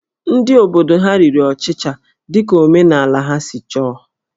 Ndị obodo ha riri ọchịcha dị ka omenala ha si chọọ